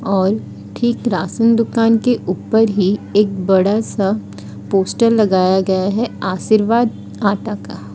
और ठीक राशन दुकान के ऊपर ही एक बड़ा सा पोस्टर लगाया गया है आशीर्वाद आटा का--